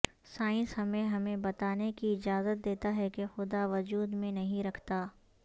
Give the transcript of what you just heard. science ہمیں ہمیں بتانے کی اجازت دیتا ہے کہ خدا وجود میں نہیں رکھتا